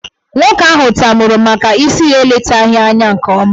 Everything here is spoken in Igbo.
Nwoke ahụ tamuru maka isi ya eletaghị anya nke ọma.